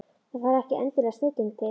Það þarf ekki endilega snilling til.